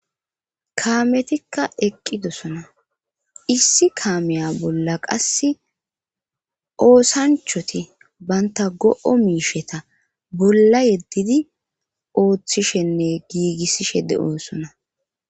kaametikka eqqidosona issi kaameya bolla qass oosanchoti baynta go7o miisheta bolla yeddidi ooththishenne giigissishe de7o sona